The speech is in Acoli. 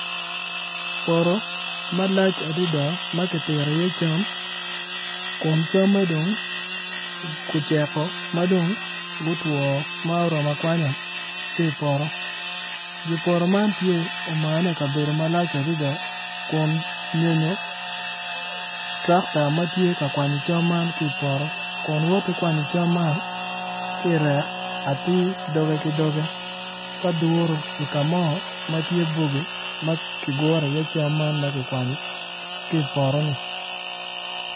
Poto malac adada ma kipito iye cam kun camme dong oceko ma dong gutwo ma oromo akwanya ki ipoto dye poto man tye omane i kabedo malac adada kun nyonyo twakta ma tye ka kwanyo cam man ki ipoto kun woti kwanyo cam man ki irek atir doge ki doge ka duro i ka mo ma tye bogi ma kiguro iye cam man ma kikwanyo ki i poto-ni.